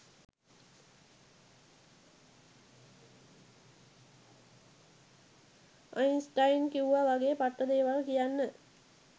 Einstein කිව්ව වගේ පට්ට දේවල් කියන්න